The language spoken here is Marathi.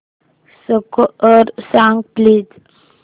स्कोअर सांग प्लीज